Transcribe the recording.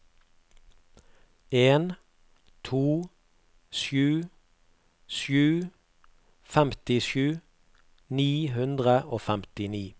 en to sju sju femtisju ni hundre og femtini